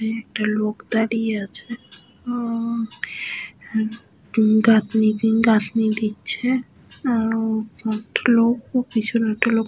এখানে একটা লোক দাঁড়িয়ে আছে ও উম গাঁথনি গাঁথনি দিচ্ছে । উম কয়েকটা লোক ও পিছনে একটা লোক --।